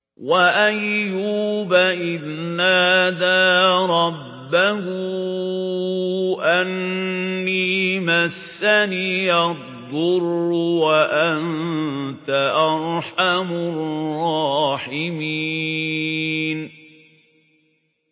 ۞ وَأَيُّوبَ إِذْ نَادَىٰ رَبَّهُ أَنِّي مَسَّنِيَ الضُّرُّ وَأَنتَ أَرْحَمُ الرَّاحِمِينَ